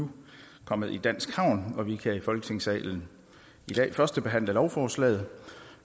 nu kommet i dansk havn og vi kan i folketingssalen i dag førstebehandle lovforslaget